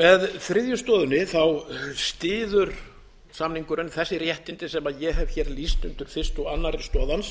með þriðju stoðinni styður samningurinn þessi réttindi sem ég hef hér lýst undir fyrstu og annarri stoð hans